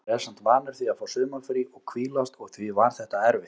Maður er samt vanur því að fá sumarfrí og hvílast og því var þetta erfitt.